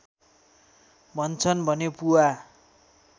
भन्छन् भने पुवा